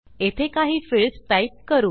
येथे काही fields type करू